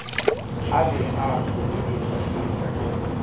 a be a hoeletswa ke